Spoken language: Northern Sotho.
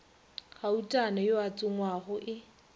gautana yo a tsongwago e